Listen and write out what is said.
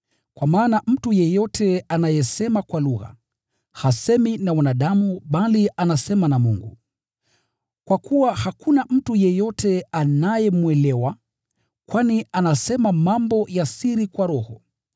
Kwa maana mtu yeyote anayesema kwa lugha, hasemi na wanadamu bali anasema na Mungu. Kwa kuwa hakuna mtu yeyote anayemwelewa, kwani anasema mambo ya siri kwa roho.